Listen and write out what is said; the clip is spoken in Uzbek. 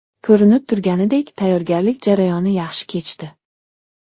Ko‘rinib turganidek, tayyorgarlik jarayoni yaxshi kechdi.